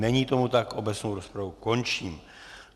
Není tomu tak, obecnou rozpravu končím.